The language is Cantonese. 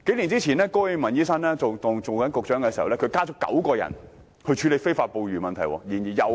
數年前高永文醫生出任食物及衞生局局長時，增設了9個職位處理非法捕魚問題。